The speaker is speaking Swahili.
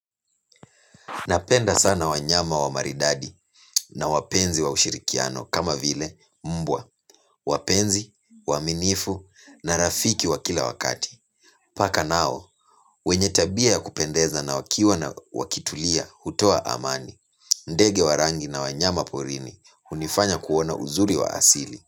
Napenda sana wanyama wa maridadi na wapenzi wa ushirikiano kama vile mbwa, wapenzi, waaminifu na rafiki wa kila wakati. Paka nao, wenye tabia ya kupendeza na wakiwa na wakitulia, utoa amani, ndege wa rangi na wanyama porini, unifanya kuona uzuri wa asili.